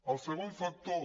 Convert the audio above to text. el segon factor